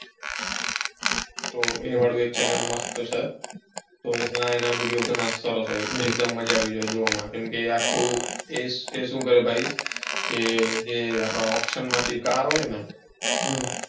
તો એ વાળું એક channel મસ્ત છે એના video સરસ હોય એકદમ મજા આવી જાય જોવામાં એ સુ કરે ભાઈ auction માંથી કાર હોય ને.